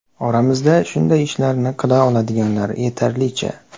Oramizda shunday ishlarni qila oladiganlar yetarlicha.